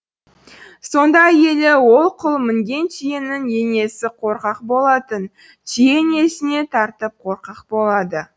сонда әйелі ол құл мінген түйенің енесі қорқақ болатын түйе енесіне тартып қорқақ болады